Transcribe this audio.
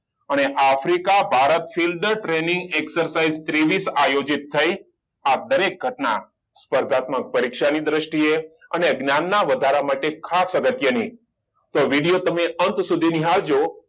અને Africa Bharat fill the training exercise ત્રેવીસ આયોજિત થય આ દરેક ઘટના સ્પર્ધાત્મક પરીક્ષા ની દ્રષ્ટિએ અને જ્ઞાન ના વધારા માટે ખાસ અગત્યની તો video તમે અંત સુધી નિહાળજો